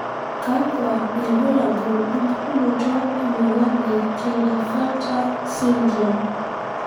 kakwa ilbulabul opukunoto emoyian e klinefelter sydrome?